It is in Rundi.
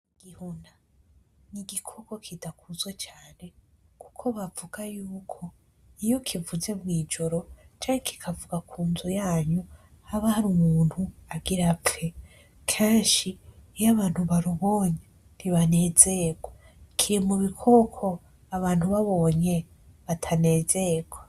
Igihuna, n'igikoko kidakunzwe cane kuko bavuga y’uko iyo kivuze mw'ijoro canke kikavuga ku nzu yanyu haba har'umuntu agira apfe, kenshi iyo abantu barubonye ntibanezegwa, kiri mu bikoko abantu bobonye batanezegwa.